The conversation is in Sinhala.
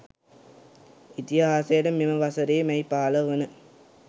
ඉතිහාසයට මෙම වසරේ මැයි 15 වන